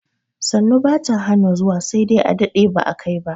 Sannu bata hana zuwa sai dai a dade ba a kai ba